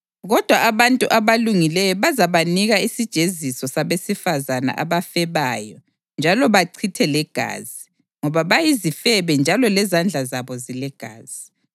Kodwa abantu abalungileyo bazabanika isijeziso sabesifazane abafebayo njalo bachithe legazi, ngoba bayizifebe njalo lezandla zabo zilegazi.